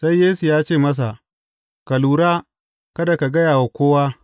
Sai Yesu ya ce masa, Ka lura kada ka gaya wa kowa.